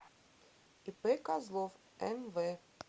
ип козлов мв